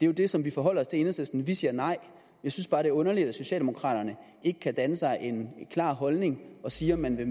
jo det som vi forholder os til i enhedslisten vi siger nej jeg synes bare det er underligt at socialdemokraterne ikke kan danne sig en klar holdning og sige om man vil